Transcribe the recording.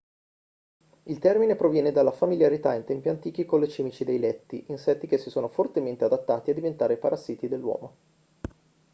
il termine proviene dalla familiarità in tempi antichi con le cimici dei letti insetti che si sono fortemente adattati a diventare parassiti dell'uomo